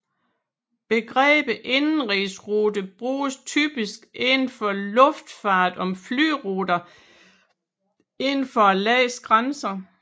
Begrebet indenrigsrute bruges typisk inden for luftfart om flyruter inden for et lands grænser